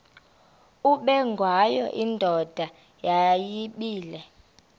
ubengwayo indoda yayibile